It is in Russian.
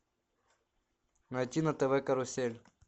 найти на тв карусель